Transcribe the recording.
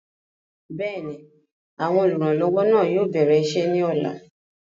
bẹ́ẹ̀ni, àwọn olùrànlọwọ náà yóò bẹ̀rẹ̀ isẹ́ ní ọ̀la